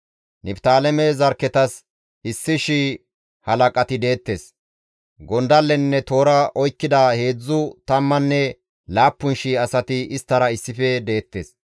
Niftaaleme zarkketas issi shiya halaqati deettes; gondallenne toora oykkida heedzdzu tammanne laappun shii asati isttara issife deettes.